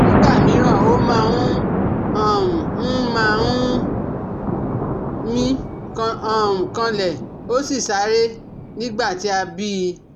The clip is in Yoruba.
Nígbà míràn, ó máa um ń máa um ń mí um kanlẹ̀ ó sì ṣàárẹ̀ nígbà tí a bí i